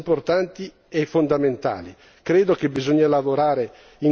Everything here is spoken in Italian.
In definitiva, si tratta di progressi importanti e fondamentali.